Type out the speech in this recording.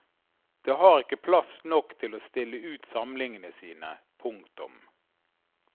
Det har ikke plass nok til å stille ut samlingene sine. punktum